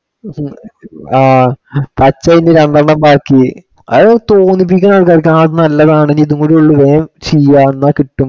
ആഹ് പച്ച അയിന്റെ രണ്ടെണ്ണം ബാക്കി. അത് തോന്നിപ്പിക്കണതു ആണ് നല്ലതാണിനി ഇതുംകൂടി ഉള്ളു ഹേ ചെയ്യാം എന്നാ കിട്ടും.